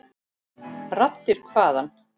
Raddir hvaðan?